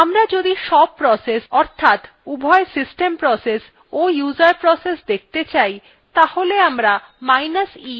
আমরা যদি সব processes অর্থাৎ উভয় system processes ও user processes দেখতে চাই